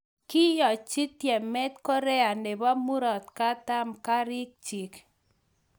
Koyachi tyemet Korea nebo murotakatam kariik chiik